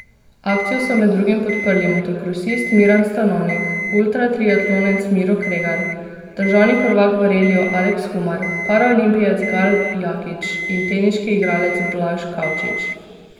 Akcijo so med drugim podprli motokrosist Miran Stanovnik, ultra triatlonec Miro Kregar, državni prvak v reliju Aleks Humar, paraolimpijec Gal Jakič in teniški igralec Blaž Kavčič.